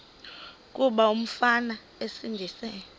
kuba umfana esindise